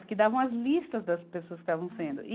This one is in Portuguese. Porque davam as listas das pessoas que estavam sendo.